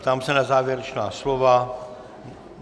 Ptám se na závěrečná slova?